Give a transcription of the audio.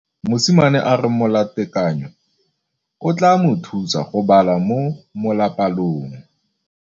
Mosimane a re molatekanyô o tla mo thusa go bala mo molapalong.